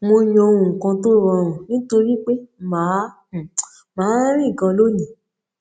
mo yan ohun kan tó rọrùn nítorí pé màá máa rìn ganan lónìí